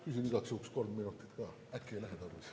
Küsin igaks juhuks kolm minutit lisaks ka, kuigi äkki ei lähe tarvis.